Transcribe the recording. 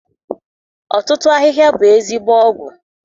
Ọtụtụ ahịhịa bụ ezigbo ọgwụ.